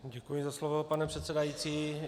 Děkuji za slovo, pane předsedající.